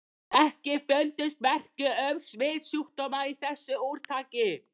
EKKI FUNDUST MERKI UM SMITSJÚKDÓMA Í ÞESSU ÚRTAKI.